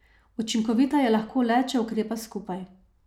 Učinkovita je lahko le, če ukrepa skupaj.